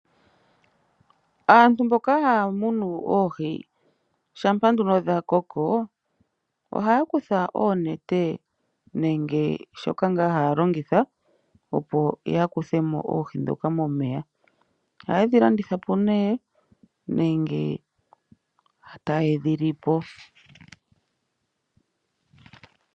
Aantu mboka haya munu oohi shampa nduno dha koko, ohaya kutha oonete nenge shoka ngaa haya longitha opo ya kuthemo oohi ndhoka momeya. Ohaye dhi landitha po, nenge ta yedhi lipo.